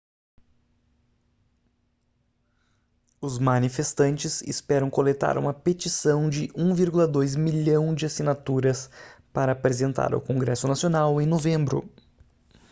os manifestantes esperam coletar uma petição de 1,2 milhão de assinaturas para apresentar ao congresso nacional em novembro